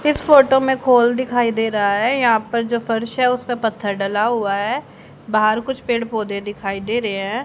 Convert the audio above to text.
इस फोटो में खोल दिखाई दे रहा है यहां पर जो फर्श है उसपे पत्थर डाला हुआ है बाहर कुछ पेड़ पौधे दिखाई दे रहे हैं।